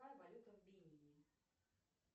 какая валюта в бенине